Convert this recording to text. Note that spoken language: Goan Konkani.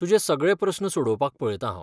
तुजे सगळे प्रस्न सोडोवपाक पळयतां हांव.